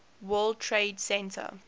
world trade center